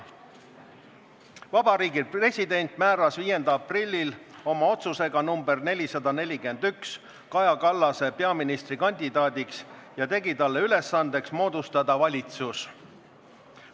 Vabariigi President määras 5. aprillil oma otsusega nr 441 Kaja Kallase peaministrikandidaadiks ja tegi talle ülesandeks moodustada valitsus.